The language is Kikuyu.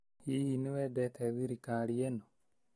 Hihi nĩ wendete thirikari ĩno?